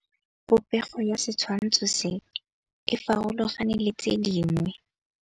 Popêgo ya setshwantshô se, e farologane le tse dingwe.